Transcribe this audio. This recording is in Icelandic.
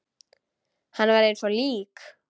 Hann var eins og lík.